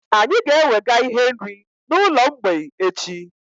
Anyị ga-ewega ihe nri na ụlọ mgbei echi